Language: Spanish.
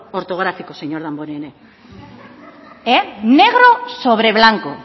ortográfico señor damborenea negro sobre blanco